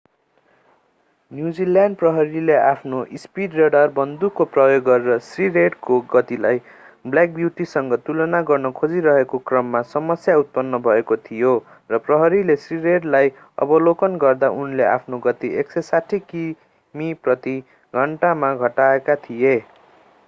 New Zealand प्रहरीले आफ्नो speed radar बन्दुकको प्रयोग गरेर श्री रेडको गतिलाई ब्ल्याक ब्यूटीसँग तुलना गर्न खोजिरहेको क्रममा समस्या उत्पन्न भएको थियो र प्रहरीले श्री रेडलाई अवलोकन गर्दा उनले आफ्नो गति 160 किमि प्रति घण्टामा घटाएका थिए